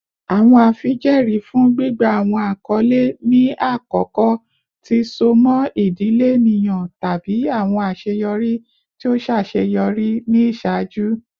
Awọn afijẹẹri fun gbigba awọn akọle ni akọkọ ti so mọ idile eniyan tabi awọn aṣeyọri ti o ṣaṣeyọri ni iṣaaju.